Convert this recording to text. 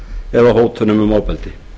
eða hótunum um ofbeldi